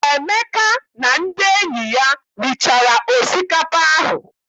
Emeka na ndị enyi ya richara osikapa ahụ.